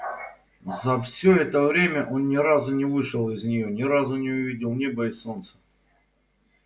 за все это время он ни разу не вышел из нее ни разу не увидел неба и солнца